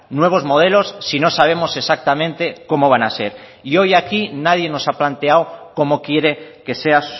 nuevos modelos si no sabemos exactamente cómo van a ser y hoy aquí nadie nos ha planteado cómo quiere que sea